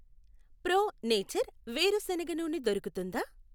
Pro nature వేరుశనగ నూనె దొరుకుతుందా?